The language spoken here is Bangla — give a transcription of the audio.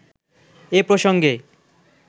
এ প্রসঙ্গে